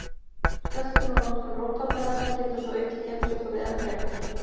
Söltun og notkun rotvarnarefna getur svo aukið geymsluþolið enn frekar.